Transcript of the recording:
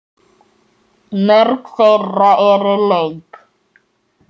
Mörg þeirra eru löng.